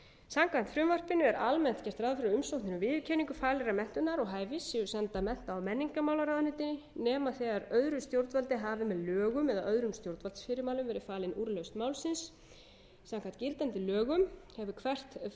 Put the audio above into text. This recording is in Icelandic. samkvæmt frumvarpinu er almennt gert ráð fyrir að umsóknir um viðurkenningu faglegrar menntunar og hæfis séu sendar mennta og menningarmálaráðuneytinu nema öðru stjórnvaldi hafi með lögum eða öðrum stjórnvaldsfyrirmælum verið falin úrlausn málsins samkvæmt gildandi lögum hefur hvert fagráðuneyti um sig